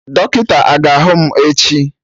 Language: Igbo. Dọkịta aga ahụ mụ echi?